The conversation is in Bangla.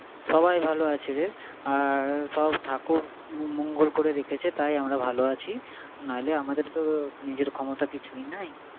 সবাই ভালো আছে রে। আর সব ঠাকুর মঙ্গল করে রেখেছে তাই আমরা ভালো আছি, নাইলে আমাদের তো নিজের ক্ষমতা কিছুই নাই।